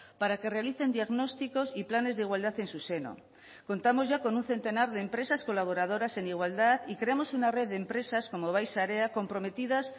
para que realicen diagnósticos y planes de igualdad en su seno contamos ya con un centenar de empresas colaboradoras en igualdad y creamos una red de empresas como bai sarea comprometidas